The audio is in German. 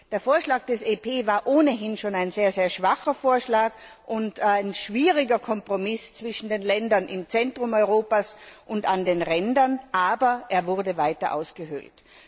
Der Vorschlag des EP war ohnehin schon ein sehr schwacher Vorschlag und ein schwieriger Kompromiss zwischen den Ländern im Zentrum Europas und an den Rändern, doch er wurde noch weiter ausgehöhlt.